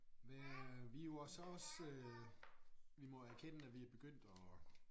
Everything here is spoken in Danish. Hvad vi jo og så også vi må erkende at vi er begyndt at